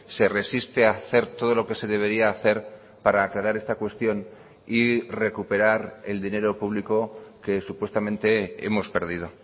se resiste a hacer todo lo que se debería hacer para aclarar esta cuestión y recuperar el dinero público que supuestamente hemos perdido